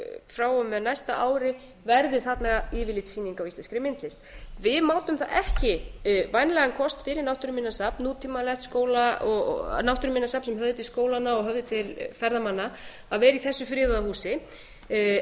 frá og með hæsta ári verði þarna yfirlitssýning á íslenskri myndlist við mátum það ekki vænlegan kost fyrir náttúruminjasafn nútímalegt náttúruminjasafn sem höfði til skólanna og höfði til ferðamanna að vera í þessu friðaða húsi